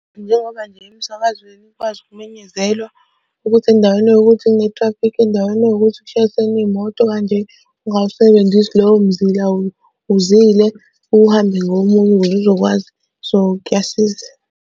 Njengoba nje emsakazweni ikwazi ukumenyezelwa ukuthi endaweni ewukuthi kune-traffic endaweni ewukuthi kushayisene iy'moto kanje. Ungawusebenzisi lowo mzila wuzile uhambe ngomunye ukuze uzokwazi, so kuyasiza.